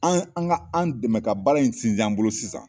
An an ka an dɛmɛ ka baara in sinsin an bolo sisan